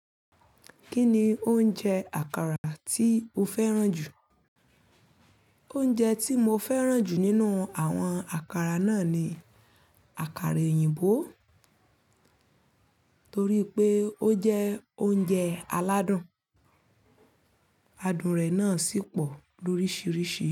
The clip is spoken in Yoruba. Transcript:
Kí ni oúnjẹ àkàrà tí o fẹ́ràn jù? Oúnjẹ tí mo fẹ́ràn jù nínú àwọn àkàrà náà ni àkàrà òyìnbó torí pé ó jẹ́ oúnjẹ aládùn. Adùn rẹ̀ náà sì pọ̀ lóríṣiríṣi.